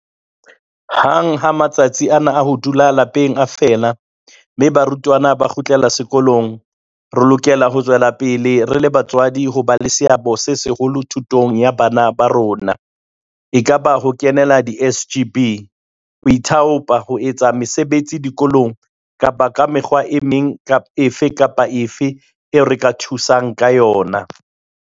Hang ha matsatsi ana a ho dula lapeng a fela mme barutwana ba kgutlela sekolong, re lokela ho tswela pele re le batswadi ho ba le seabo se seholo thutong ya bana ba rona, ekaba ka ho kenela di-SGB, ho ithaopa ho etsa mesebetsi dikolong kapa ka mekgwa e meng efe kapa efe eo re ka thusang ka yona.